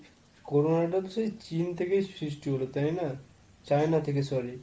corona টা তো সেই চীন থেকেই সৃষ্টি হলো তাই না? China থেকে sorry।